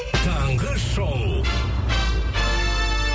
таңғы шоу